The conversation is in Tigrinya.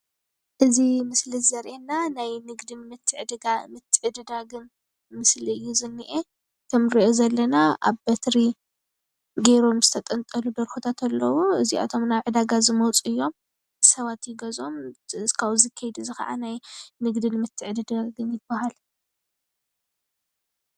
እዚ ምስሊ ዘርኤና ናይ ንግዲ ምትዕድዳግን ምስሊ እዩ ዝኔኤ ኣብ በትሪ ገሮም ዝንተጠልጠሉ ደርሆታት ኣለዉ እዚኣቶም ናብ ንዕዳጋ ዝመፁ እዮም ሰባት ይገዝኦም። እዚ ከይዲ እዚ ድማ ንግዲን ምትዕድዳግን ይባሃል።